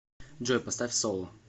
джой поставь соло